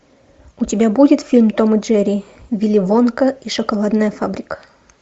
у тебя будет фильм том и джерри вилли вонка и шоколадная фабрика